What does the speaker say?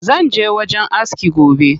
Zanje wajen aski gobe.